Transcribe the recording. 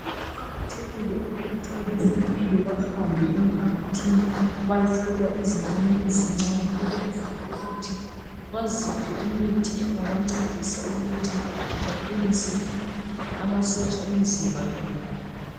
Kuqakathekile ukuthi abezempilakahle bahambe emphakathini beyehlola izingani ezincani ukwenzela ukuthi bebaphe imithi engancedisa ukuthi baqinise amasotsha awemzimba yabo